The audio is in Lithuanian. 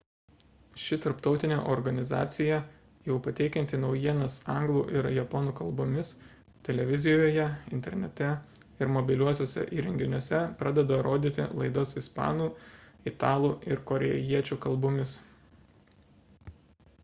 ši tarptautinė organizacija jau pateikianti naujienas anglų ir japonų kalbomis televizijoje internete ir mobiliuosiuose įrenginiuose pradeda rodyti laidas ispanų italų ir korėjiečių kalbomis